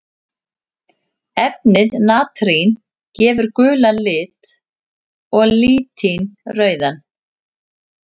Efnið natrín gefur gulan lit og litín rauðan.